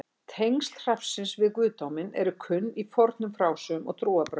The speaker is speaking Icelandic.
tengsl hrafnsins við guðdóminn eru kunn í fornum frásögnum og trúarbrögðum